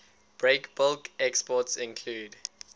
breakbulk exports include